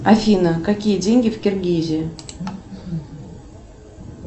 афина какие деньги в киргизии